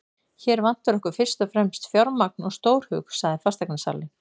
Hér vantar okkur fyrst og fremst fjármagn og stórhug, sagði fasteignasalinn.